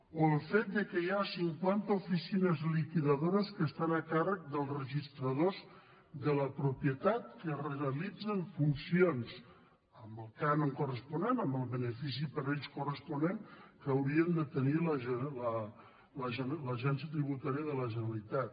o el fet que hi ha cinquanta oficines liquidadores que estan a càrrec dels registradors de la propietat que realitzen funcions amb el cànon corresponent amb el benefici per a ells corresponent que hauria de tenir l’agència tributària de la generalitat